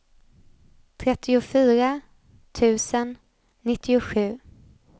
trettiofyra tusen nittiosju